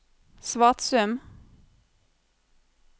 Svatsum